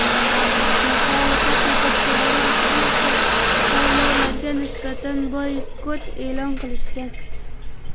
Muxolifat yetakchilari ushbu saylovlarga nisbatan boykot e’lon qilishgan.